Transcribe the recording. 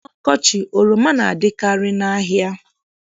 N'ọkọchị, oroma na-adịkarị n'ahịa.